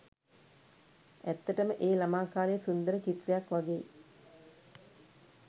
ඇත්තටම ඒ ළමා කාලය සුන්දර චිත්‍රයක් වගෙයි.